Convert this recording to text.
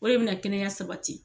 O de bɛna kɛnɛya sabati